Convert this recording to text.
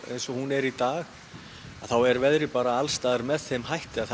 eins og hún er í dag þá er veðrið bara alls staðar með þeim hætti að